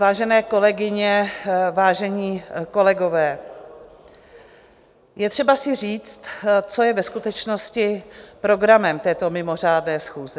Vážené kolegyně, vážení kolegové, je třeba si říct, co je ve skutečnost programem této mimořádné schůze.